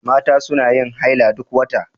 Mata suna yin haila duk wata.